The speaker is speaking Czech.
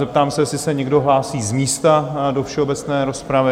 Zeptám se, jestli se někdo hlásí z místa do všeobecné rozpravy?